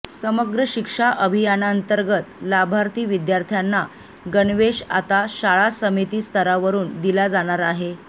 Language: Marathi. समग्र शिक्षा अभियानांतर्गत लाभार्थी विद्यार्थ्यांना गणवेश आता शाळा समिती स्तरावरून दिला जाणार आहे